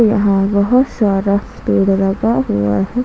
यहां बहोत सारा पेड़ लगा हुआ है।